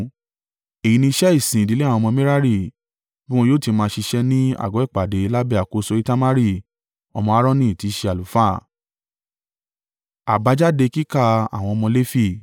Èyí ni iṣẹ́ ìsìn ìdílé àwọn ọmọ Merari, bí wọn yóò ti máa ṣiṣẹ́ ní àgọ́ ìpàdé lábẹ́ àkóso Itamari ọmọ Aaroni tí í ṣe àlùfáà.”